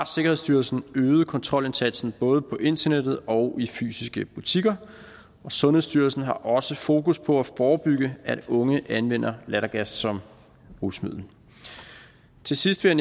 sikkerhedsstyrelsen kontrolindsatsen både på internettet og i fysiske butikker sundhedsstyrelsen har også fokus på at forebygge at unge anvender lattergas som rusmiddel til sidst vil